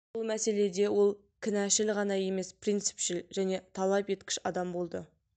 бұл мәселеде ол кінәшіл ғана емес принципшіл және талап еткіш адам болды